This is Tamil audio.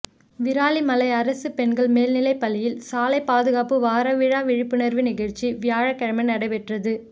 விராலிமலை அரசு பெண்கள் மேல்நிலைப்பள்ளியில் சாலை பாதுகாப்பு வார விழா விழிப்புணா்வு நிகழ்ச்சி வியாழக்கிழமை நடைபெற்றது